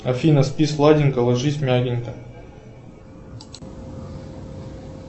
афина спи сладенько ложись мягенько